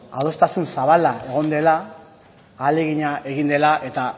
adostasun zabala egon dela ahalegina egin dela eta